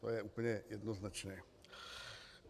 To je úplně jednoznačné.